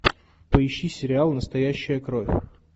поищи сериал настоящая кровь